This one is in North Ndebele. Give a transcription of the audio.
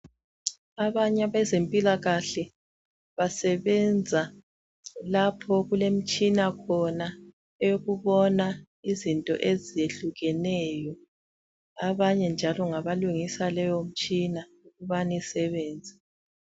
Abanye abezempilakahle basebenza lapho okulemitshina khona eyokubona izinto ezehlukeneyo. Abanye njalo ngabalungisa leyo mtshina ukubane isebenze.